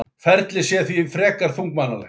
Ferlið sé því frekar þunglamalegt